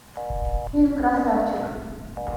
фильм красавчик